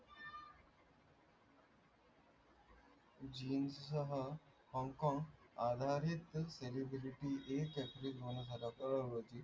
jeans चा हा hong kong